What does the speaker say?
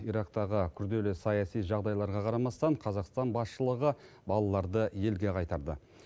ирактағы күрделі саяси жағдайларға қарамастан қазақстан басшылығы балаларды елге қайтарды